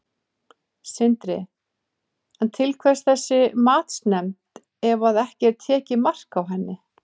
Sindri: En til hvers þessi matsnefnd ef að ekki er tekið mark á henni?